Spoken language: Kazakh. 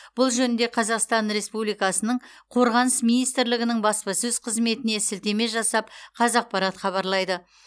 бұл жөнінде қазақстан республикасының қорғаныс министрлігінің баспасөз қызметіне сілтеме жасап қазақпарат хабарлайды